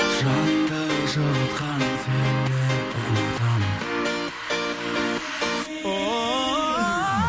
жанды жылытқан сені ұмытамын